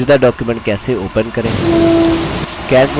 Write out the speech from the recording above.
मौजूदा document कैसे open करें